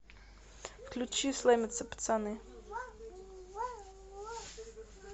включи слэмятся пацаны